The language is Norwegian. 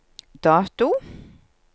dato